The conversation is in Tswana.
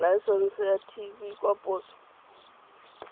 laesense ya tv kwa poso